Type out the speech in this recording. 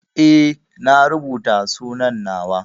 Eh na rubuta sunan na wa.